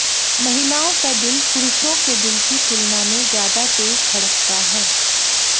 महिलाओं का दिल पुरुषों के दिल की तुलना में ज्यादा तेज धड़कता है